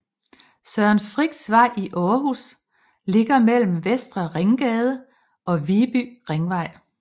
Søren Frichs Vej i Aarhus ligger mellem Vestre Ringgade og Viby Ringvej